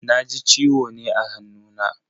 Na ji ciwo ne a hannuna.